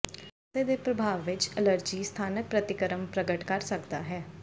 ਪਾਸੇ ਦੇ ਪ੍ਰਭਾਵ ਵਿਚ ਅਲਰਜੀ ਸਥਾਨਕ ਪ੍ਰਤੀਕਰਮ ਪ੍ਰਗਟ ਕਰ ਸਕਦਾ ਹੈ